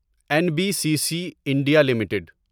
N B C C India limited